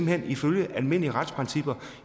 hen at ifølge almindelige retsprincipper